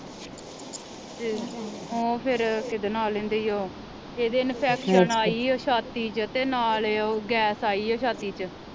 ਉਹ ਫਿਰ ਕਿਦਾ ਨਾ ਲੈਂਦੇ ਈਓ ਇਹਦੇ ਇਨਫੈਕਸ਼ਨ ਆਈ ਓ ਛਾਤੀ ਚ ਤੇ ਨਾਲੇ ਉਹ ਗੈਸ ਆਈ ਆ ਛਾਤੀ ਚ